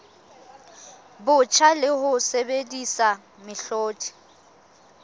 botjha le ho sebedisa mehlodi